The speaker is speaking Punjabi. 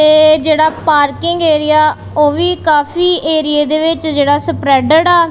ਤੇ ਜਿਹੜਾ ਪਾਰਕਿੰਗ ਏਰੀਆ ਉਹ ਵੀ ਕਾਫੀ ਏਰੀਏ ਦੇ ਵਿੱਚ ਜਿਹੜਾ ਸਪਰੈਡਡ ਆ।